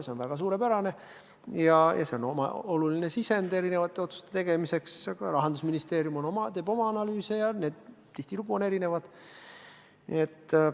See on suurepärane ja see on oluline sisend erinevate otsuste tegemiseks, aga Rahandusministeerium teeb oma analüüse ja need tihtilugu erinevad Eesti Panga omadest.